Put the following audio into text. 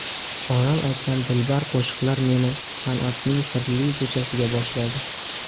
Onam aytgan dilbar qo‘shiqlar meni san’atning sirli ko‘chasiga boshladi.